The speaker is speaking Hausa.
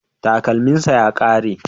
Takalminsa ya kare